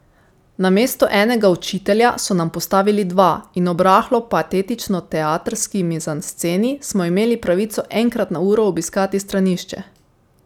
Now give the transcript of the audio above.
Namesto enega učitelja so nam postavili dva in ob rahlo patetično teatrski mizansceni smo imeli pravico enkrat na uro obiskati stranišče.